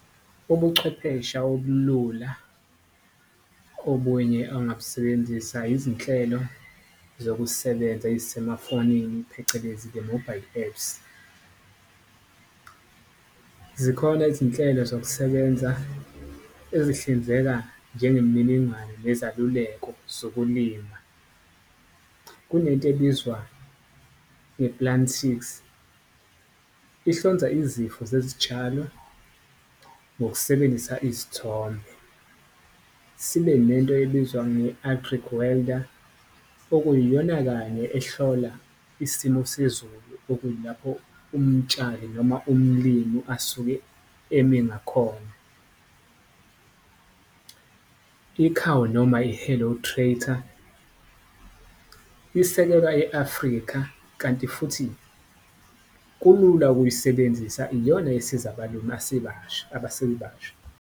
Ubuchwephesha obulula obunye angabusebenzisa izinhlelo zokusebenza eyisemafonini, phecelezi the mobile apps. Zikhona izinhlelo zokusebenza ezihlinzeka njengemininingwane nezaluleko zokulima. Kunento ebizwa nge-Plantix ihlonza izifo zezitshalo ngokusebenzisa izithombe, sibe nento ebizwa okuyiyona kanye ehlola isimo sezulu, okuyilapho umtshali noma umlimu asuke eme ngakhona . Ikhawu noma-Hello Tractor isekelwa e-Afrika kanti futhi kulula ukuyisebenzisa, iyona esiza abalimi abasebasha.